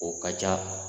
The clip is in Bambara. O ka ca